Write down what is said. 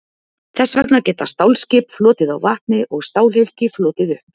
Þess vegna geta stálskip flotið á vatni og stálhylki flotið upp.